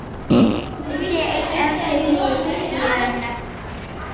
Ég sé enn eftir því síðar nefnda.